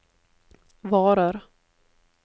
varer